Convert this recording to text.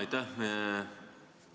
Aitäh!